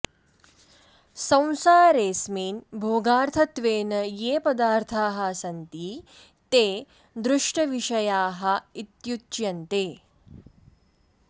संसारेऽस्मिन् भोगार्थत्वेन ये पदार्थाः सन्ति ते दृष्टविषयाः इत्युच्यन्ते